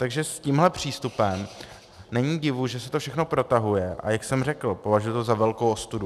Takže s tímhle přístupem není divu, že se to všechno protahuje, a jak jsem řekl, považuji to za velkou ostudu.